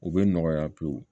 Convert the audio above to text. U bɛ nɔgɔya pewu